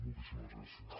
moltíssimes gràcies